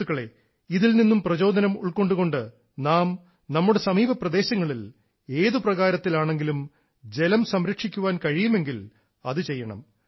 സുഹൃത്തുക്കളേ ഇതിൽനിന്നും പ്രചോദനം ഉൾക്കൊണ്ടുകൊണ്ട് നാം നമ്മുടെ സമീപപ്രദേശങ്ങളിൽ ഏതു പ്രകാരത്തിലാണെങ്കിലും ജലം സംരക്ഷിക്കാൻ കഴിയുമെങ്കിൽ അതു ചെയ്യണം